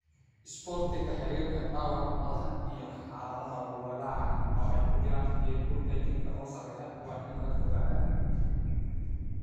Isboortiga xiriirka, dhaawaca madaxa, iyo xaaladaha walaaca (oo ay ku jiraan heerkulka jirka oo sarreeya) waa in laga fogaadaa.